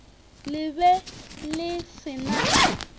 le be le se na